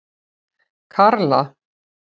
Karla